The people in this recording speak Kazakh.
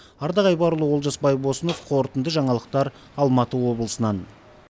ардақ айбарұлы олжас байбосынов қорытынды жаңалықтар алматы облысынан